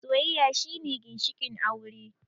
Soyayya shine ginshikin aure